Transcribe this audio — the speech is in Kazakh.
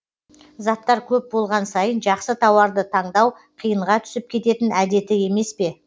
заттар көп болған сайын жақсы тауарды таңдау қиынға түсіп кететін әдеті емес пе